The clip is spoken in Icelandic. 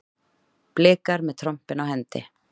Blikar með trompin á hendi